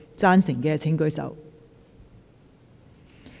贊成的請舉手。